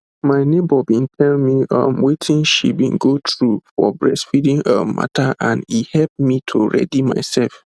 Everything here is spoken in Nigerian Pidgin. my neighbour bin tell me um wetin she bin go through for breastfeeding um mata and e hep to ready myself